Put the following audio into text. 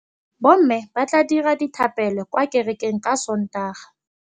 Bommê ba tla dira dithapêlô kwa kerekeng ka Sontaga.